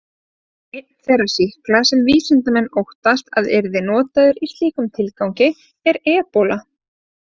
Einn þeirra sýkla sem vísindamenn óttast að yrði notaður í slíkum tilgangi er ebóla.